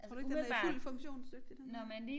Tror du ikke den er fuldt funktionsdygtig den her